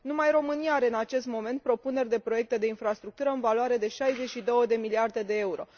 Numai România are în acest moment propuneri de proiecte de infrastructură în valoare de 62 de miliarde de euro.